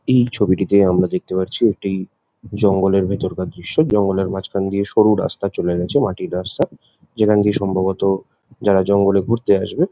এই ছবিটিতে আমরা দেখতে পারছি একটি জঙ্গলের ভেতরকার দৃশ্য জঙ্গলের মাঝখান দিয়ে সরু রাস্তা চলে গেছে মাটির রাস্তা যেখান দিয়ে সম্ভবত যারা জঙ্গলে ঘুরতে আসবে--